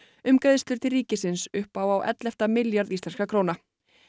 um greiðslur til ríkisins upp á á ellefta milljarð íslenskra króna